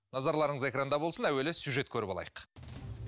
назарларыңыз экранда болсын әуелі сюжет көріп алайық